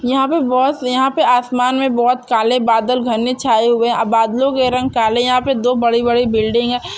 यहाँ पे यहाँ पे आसमान मे बहुत काले बादल घने छाए हुए है बादलों के रंग काले है यहाँ पे दो बड़ी-बड़ी बिल्डिंग हैं।